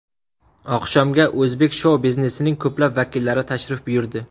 Oqshomga o‘zbek shou-biznesining ko‘plab vakillari tashrif buyurdi.